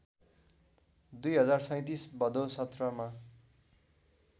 २०३७ भदैा १७ मा